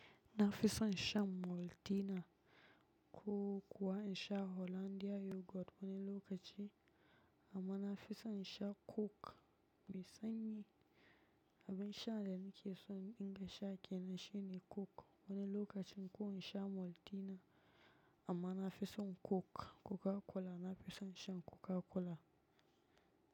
Na fison shan Maltina, ko kuwa insha Hollandia yoghurt wani okaci. Amma na fison insha coke me sanyi. Abun sha da nake so in dinga sha kenan shine coke wani lokacin. Ko insha Maltina, amma na fison coke. Coca Cola na fison shan Coca Cola.